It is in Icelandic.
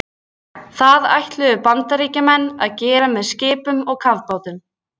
Það er líka notað sem töluorð og þá óbeygt.